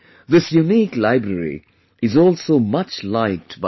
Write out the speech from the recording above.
This unique library is also much liked by the children